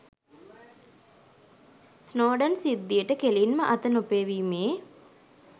Snowden සිද්ධියට කෙළින්ම අත නොපෙවීමේ